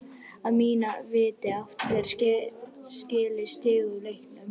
Að mínu viti áttum við skilið stig út úr leiknum.